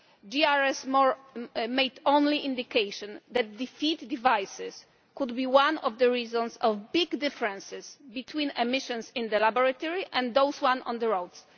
The JRC only indicated that defeat devices could be one of the reasons for big differences between emissions in the laboratory and those on the roads.